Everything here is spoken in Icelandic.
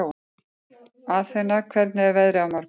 Athena, hvernig er veðrið á morgun?